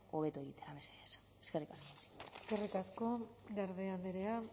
hobeto egitera mesedez eskerrik asko eskerrik asko garde andrea